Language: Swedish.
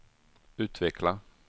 utveckla